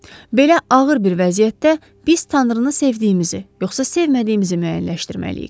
Belə ağır bir vəziyyətdə biz Tanrını sevdiyimizi, yoxsa sevmədiyimizi müəyyənləşdirməliyik.